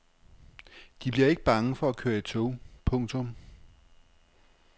De bliver ikke bange for at køre i tog. punktum